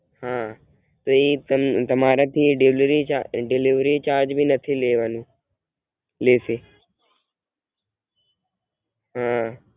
હાં એ તમારાથી delivery change ભી નથી લેવાનો લેશે